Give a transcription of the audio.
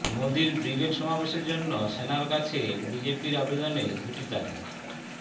মোদীর ব্রিগেড সমাবেশের জন্য সেনার কাছে বিজেপির আবেদনে দুটি তারিখ